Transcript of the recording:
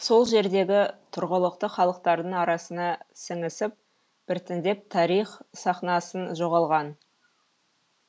сол жердегі тұрғылықты халықтардың арасына сіңісіп біртіндеп тарих сахнасын жоғалған